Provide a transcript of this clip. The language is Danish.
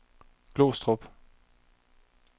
Glostrup